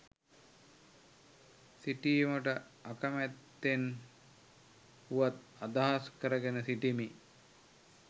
සිටීමට අකමැත්තෙන් වුවත් අදහස් කරගෙන සිටිමි